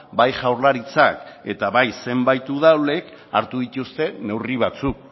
bai jaurlaritzak eta bai zenbait udalek hartu dituzte neurri batzuk